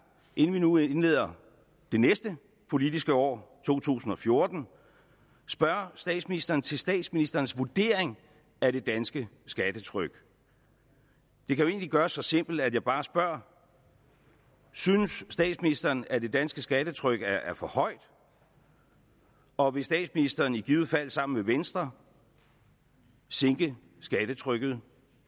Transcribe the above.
inden vi nu indleder det næste politiske år to tusind og fjorten spørge statsministeren til statsministerens vurdering af det danske skattetryk det kan jo egentlig gøres så simpelt at jeg bare spørger synes statsministeren at det danske skattetryk er for højt og vil statsministeren i givet fald sammen med venstre sænke skattetrykket